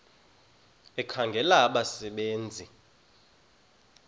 ekhangela abasebe nzi